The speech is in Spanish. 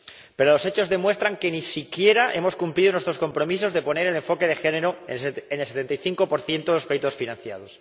Pero los hechos demuestran que ni siquiera hemos cumplido nuestros compromisos de poner el enfoque de género en el 75 de los proyectos financiados.